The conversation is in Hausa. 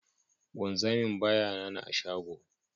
Wanzamin ba ya nana a shago.